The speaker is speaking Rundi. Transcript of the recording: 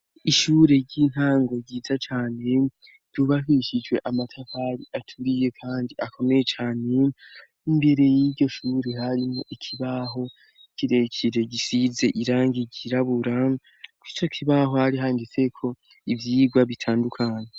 Ishure ry'intango ryiza cane ryubakishijwe amatafari aturiye kandi akomeye cane; imbere y'iryo shuri harimwo ikibaho kirekire gisize irangi ryirabura, kuri ico kibaho hari handitseko ivyigwa bitandukanye.